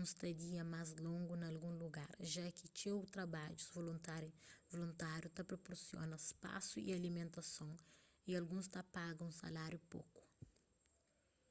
unstadia más longu na algun lugar ja ki txeu trabadjus voluntáriu ta proporsiona spasu y alimentason y alguns ta paga un saláriu poku